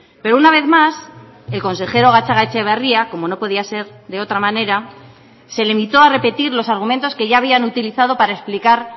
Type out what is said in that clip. pero una vez más el consejero gatzagaetxebarria como no podía ser de otra manera se limitó a repetir los argumentos que ya habían utilizado para explicar